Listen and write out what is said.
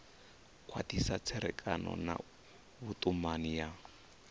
khwathisa tserekano na vhutumani ya